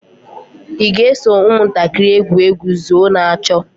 ị ga-eso ụmụntakịrị egwu egwu zóó na chó?